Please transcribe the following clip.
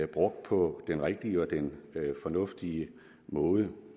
brugt på den rigtige og den fornuftige måde